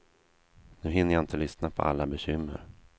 Nu hinner jag inte lyssna på alla bekymmer.